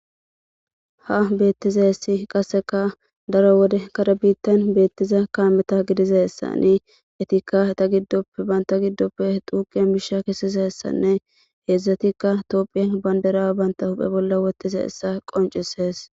ha beettizayssi qasseka daro wode kare bittan beettiza kaameta gidizayssanni etikka eta giddoppe banta giddoppe duuqe miisha kesizayssanne heedzdzatikka tophiya bandira bantta huphe bolla wothidi dizayssa qoncisees